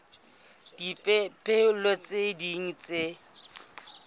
le dipehelo tse ding tse